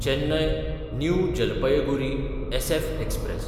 Chennai New Jalpaiguri SF express